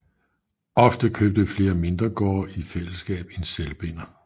Ofte købte flere mindre gårde i fællesskab en selvbinder